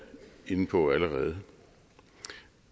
inde på allerede